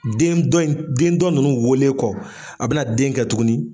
Den dɔ in, den dɔ nunnu wolen kɔ , a be na den kɛ tuguni